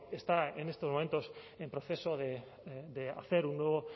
está en estos momentos en proceso de hacer un nuevo